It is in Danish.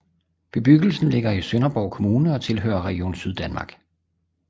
Bebyggelsen ligger i Sønderborg Kommune og tilhører Region Syddanmark